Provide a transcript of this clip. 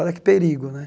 Olha que perigo, né?